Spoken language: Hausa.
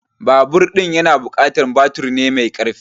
Babur ɗin na buƙatar baturi mai karfi